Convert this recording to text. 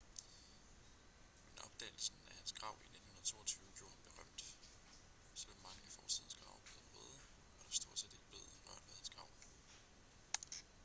men opdagelsen af hans grav i 1922 gjorde ham berømt selvom mange af fortidens grave blev røvet var der stort set ikke blev rørt ved hans grav